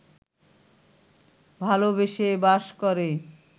ভালোবেসে বাস করে